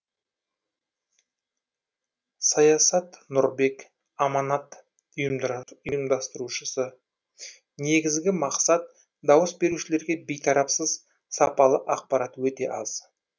саясат нұрбек аманат ап ұйымдастырушысы негізгі мақсат дауыс берушілерге бейтарапсыз сапалы ақпарат өте аз